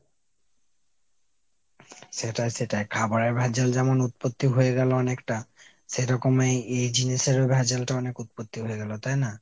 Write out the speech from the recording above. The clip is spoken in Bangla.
সেটাই সেটাই। খাবারের ভেজাল যেমন উৎপত্তি হয়েগেলো অনেকটা। সেরকম এই এই জিনিসের ও ভেজালটা অনেক উৎপত্তি হয়েগেলো তাই না ?